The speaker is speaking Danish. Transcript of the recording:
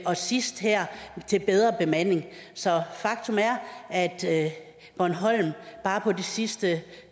og sidst her til bedre bemanding så faktum er at at bornholm bare på de sidste